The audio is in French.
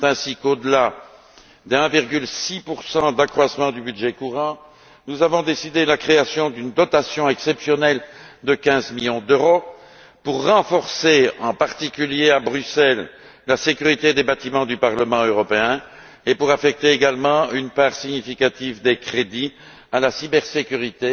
C'est ainsi qu'au delà des 1,6 d'accroissement du budget courant, nous avons décidé la création d'une dotation exceptionnelle de 15 millions d'euros pour renforcer, en particulier à Bruxelles, la sécurité des bâtiments du Parlement européen et pour affecter également une part significative des crédits au renforcement de la cybersécurité,